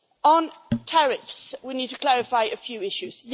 On tariffs, we need to clarify a few issues.